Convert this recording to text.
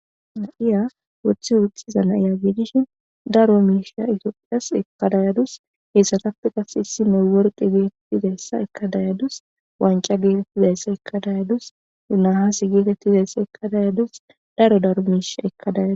Topiya wothe woxuya nayo gidishn dark wanca tophiyas ekada yadus , issinay eorqe ekada yadus , wanca getetizaysa ekada yadus , nase getetizaysa ekada yadus , daro daro misha ekada yadusi ..